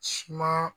Suma